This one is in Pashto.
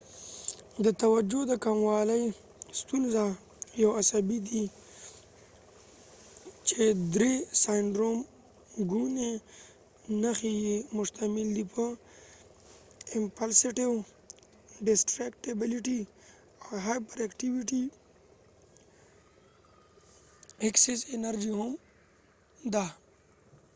د توجه د کموالی ستونزه attention dificulty disorder یو عصبی سیندرومsyndrome دي چې درې ګونی نښی یې مشتمل دي په امپلسیوېټی impulsivity ، ډستریکټیبیلیټیdistractibility او هایپر ایکټیوېټی hyperactivityاو یا هم ایکسس انرژی excess energy